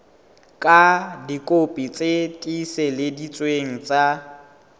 ka dikopi tse tiiseleditsweng tsa